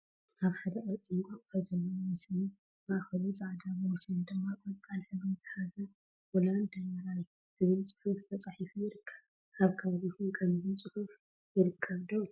ኣብ ሓደ ቅርፂ እንቋቁሖ ዘለዎ ምስሊ ማእኸሉ ፃዕዳ ብወሰኑ ድማ ቆፃል ሕብሪ ዝሓዘ ሆላንድ ዳይሪይ ዝብል ፅሑፍ ተፃሒፋ ይርከብ፡፡ ኣብ ከባቢኹም ከምዚ ፅሑፍ ይርከብ ዶ?